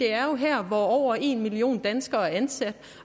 er her hvor over en million danskere er ansat